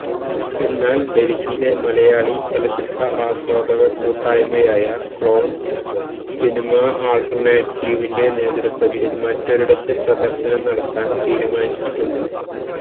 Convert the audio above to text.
എന്നാല് ഡല്ഹിയിലെ മലയാളി ചലച്ചിത്ര ആസ്വാദക കൂട്ടായ്മയായ ക്ളോണ് സിനിമ ആള്ട്ടര്നേറ്റീവിന്റെ നേതൃത്വത്തില് മറ്റൊരിടത്ത് പ്രദര്ശനം നടത്താന് തീരുമാനിച്ചിട്ടുണ്ട്